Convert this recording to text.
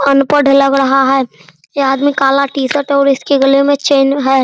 अनपढ़ लग रहा है ये आदमी काला टी-शर्ट और इसके गले में चैन है।